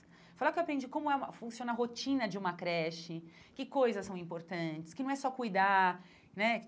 Foi lá que eu aprendi como é uma funciona a rotina de uma creche, que coisas são importantes, que não é só cuidar né.